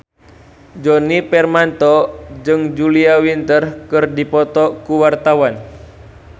Djoni Permato jeung Julia Winter keur dipoto ku wartawan